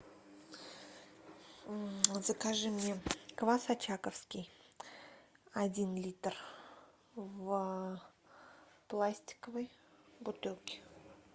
закажи мне квас очаковский один литр в пластиковой бутылке